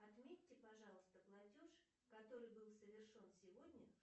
отметьте пожалуйста платеж который был совершен сегодня